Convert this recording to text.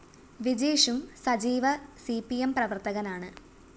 വിജീഷും സജീവ C P M പ്രവര്‍ത്തകനാണ്